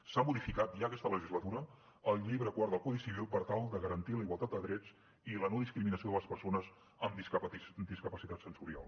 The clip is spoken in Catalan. s’ha modificat ja aquesta legislatura el llibre quart del codi civil per tal de garantir la igualtat de drets i la no discriminació de les persones amb discapacitat sensorial